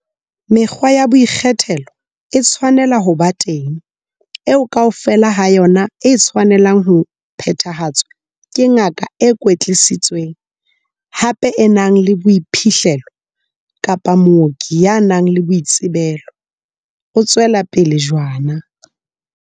Mekgwa ya boikgethelo e tshwanela ho ba teng, eo kaofela ha yona e tshwanelang ho phethahatswa ke ngaka e kwetlisitsweng, hape e nang le boiphihlelo, kapa mooki ya nang le boitsebelo, o tswela pele jwana.